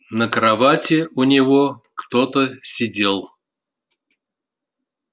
на кровати у него кто-то сидел